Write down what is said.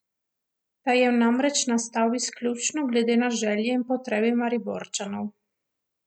Ta je namreč nastal izključno glede na želje in potrebe Mariborčanov.